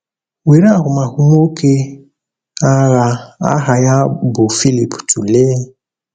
Were ahụmahụ nwoke agha aha ya bụ Phillip tụlee.